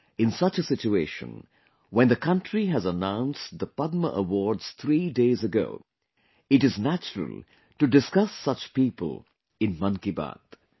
In such a situation, when the country has announced the Padma Awards three days ago, it is natural to discuss such people in 'Mann Ki Baat'